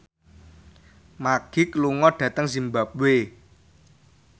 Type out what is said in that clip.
Magic lunga dhateng zimbabwe